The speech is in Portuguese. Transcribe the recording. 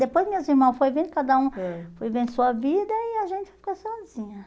Depois meus irmãos foi vendo, cada um foi vendo sua vida e a gente ficou sozinha.